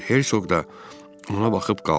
Herşoq da ona baxıb qaldı.